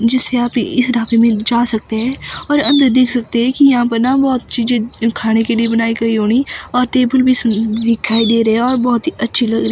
जीस यहां पे इस ढाबे मे जा सकते हैं और अंदर देख सकते हैं कि यहां पे ना बहोत चीजें खाने के लिए बनाई गई होनी और तेबुल भी सुनन दिखाई दे रहे है और बहोत ही अच्छी लगरे।